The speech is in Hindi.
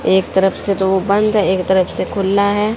एक तरफ से तो वो बंद है एक तरफ से खुला है।